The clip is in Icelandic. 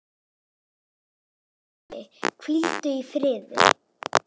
Elsku Torfi, hvíldu í friði.